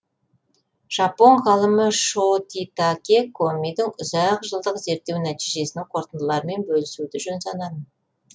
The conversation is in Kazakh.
жапон ғалымы шотитаке комидің ұзақ жылдық зерттеу нәтижесінің қорытындыларымен бөлісуді жөн санадым